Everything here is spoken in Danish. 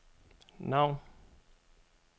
navn